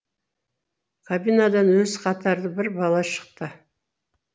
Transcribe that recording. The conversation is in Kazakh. кабинадан өзі қатарлы бір бала шықты